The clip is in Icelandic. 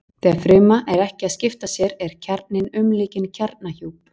Þegar fruma er ekki að skipta sér er kjarninn umlukinn kjarnahjúp.